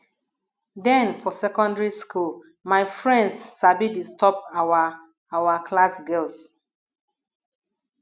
den for secondary school my friends sabi disturb our our class girls